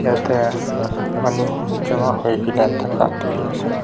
yate chama jama hokena dekhi ase.